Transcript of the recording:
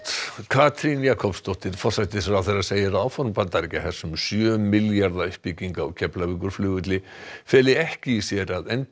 Katrín Jakobsdóttir forsætisráðherra segir að áform Bandaríkjahers um sjö milljarða uppbyggingu á Keflavíkurflugvelli feli ekki í sér að